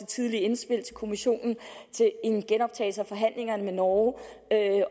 tidligt indspil til kommissionen en genoptagelse af forhandlingerne med norge